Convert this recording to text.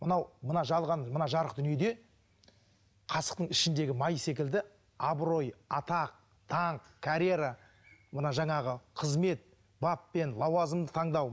мынау мына жалған мына жарық дүниеде қасықтың ішіндегі май секілді абырой атақ даңқ карьера мына жаңағы қызмет бап пен лауазымды таңдау